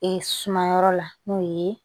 Ee sumayɔrɔ la n'o ye